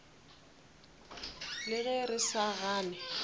le ge re sa gane